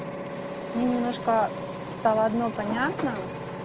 мне немножко стало одно понятно